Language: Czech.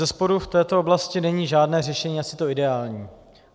Bezesporu v této oblasti není žádné řešení asi to ideální.